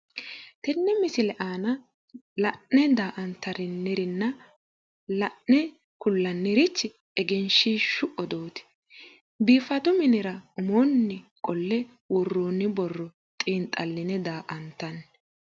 Tenne misile aana la'ne daa''antanirinna la'ne kullannirichi egenshiishshu odooti biifadu minira umoonni qollo worroonni borro xiinxaline daa''antanni.